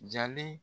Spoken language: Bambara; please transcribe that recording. Jalen